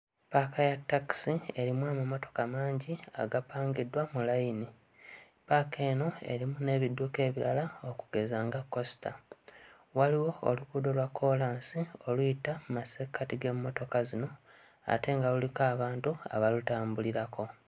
Paaka ya ttakisi erimu amamotoka mangi agapangiddwa mu layini. Paaka eno erimu n'ebidduka ebirala okugeza nga kkosita. Waliwo oluguudo lwa kkoolansi oluyita mmasekkati g'emmotoka zino ate nga luliko abantu abalutambulirako.